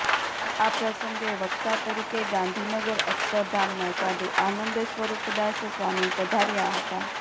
આ પ્રસંગે વક્તા તરીકે ગાંધીનગર અક્ષરધામના સાધુ આનંદસ્વરૂપદાસ સ્વામી પધાર્યા હતા